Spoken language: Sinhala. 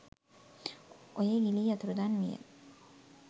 ඔයේ ගිලී අතුරුදන් විය